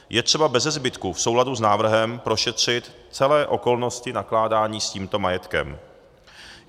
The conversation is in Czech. Je třeba beze zbytku v souladu s návrhem prošetřit celé okolnosti nakládání s tímto majetkem.